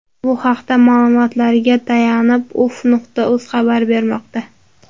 Bu haqda ma’lumotlariga tayanib uff.uz xabar bermoqda.